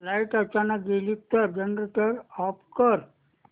light अचानक गेली तर जनरेटर ऑफ कर